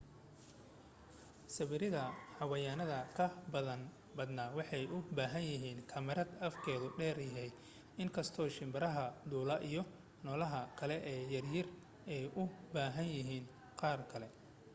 sawirada xayawaanada ka badana waxay u bahan yahiin kamarad afkeedu dheer yahay inkasto shimbiraha duula iyo noolaha kale ee yaryari ay u bahan yahiin qaar kale